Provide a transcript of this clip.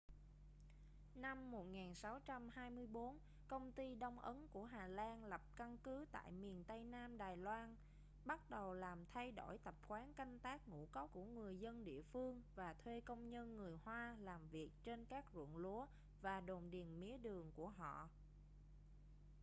năm 1624 công ty đông ấn của hà lan lập căn cứ tại miền tây nam đài loan bắt đầu làm thay đổi tập quán canh tác ngũ cốc của người dân địa phương và thuê công nhân người hoa làm việc trên các ruộng lúa và đồn điền mía đường của họ